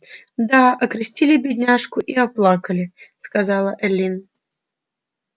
да окрестили бедняжку и оплакали сказала эллин